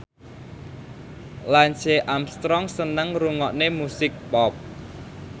Lance Armstrong seneng ngrungokne musik pop